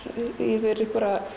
yfir